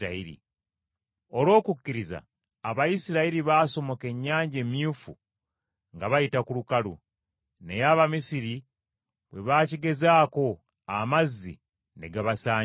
Olw’okukkiriza Abayisirayiri baasomoka Ennyanja Emyufu ng’abayita ku lukalu. Naye Abamisiri bwe baakigezaako amazzi ne gabasaanyaawo.